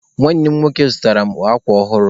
Nwanne m nke nwoke zụtaara mụ akwa ọhụrụ.